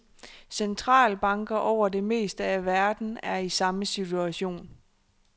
Centralbanker over det meste af verden er i samme situation.